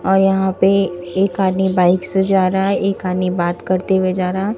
और यहां पे एक आदमी बाइक से जा रहा है एक आदमी बात करते हुए जा रहा हैं।